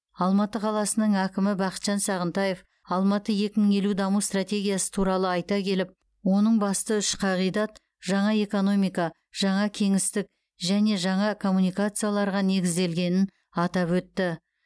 алматы қаласының әкімі бақытжан сағынтаев алматы екі мың елу даму стратегиясы туралы айта келіп оның басты үш қағидат жаңа экономика жаңа кеңістік және жаңа коммуникацияларға негізделгенін атап өтті